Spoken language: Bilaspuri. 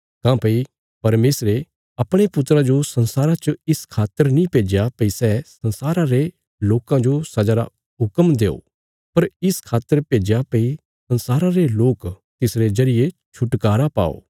काँह्भई परमेशरे अपणे पुत्रा जो संसारा च इस खातर नीं भेज्या भई सै संसारा रे लोकां जो सजा रा हुक्म देओ पर इस खातर भेज्या भई संसारा रे लोक तिसरे जरिये छुटकारा पाओ